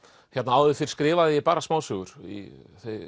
áður fyrr skrifaði ég bara smásögur í